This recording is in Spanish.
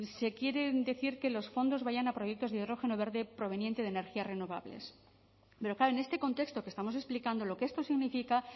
se quiere decir que los fondos vayan a proyectos de hidrógeno verde proveniente de energías renovables pero claro en este contexto que estamos explicando lo que esto significa